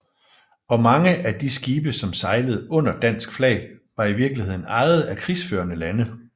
Og mange af de skibe som sejlede under dansk flag var i virkeligheden ejet af krigsførende lande